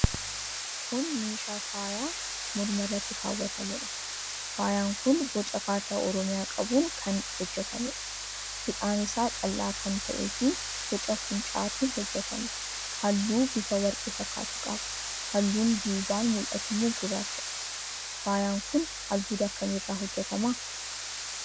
Kun meeshaa faayaa morma irratti kaa'atamuudha. Faayaan kun boca kaartaa Oromiyaa qabuun kan hojjetameedha. Hidhaan isaa qal'aa kan ta'eefi boca fuuncaatiin hojjetame. Halluu bifa warqee fakkaatu qaba. Halluun duubaan mul'atu immoo gurraachadha. Faayaan kun albuuda akkamii irraa hojjetama?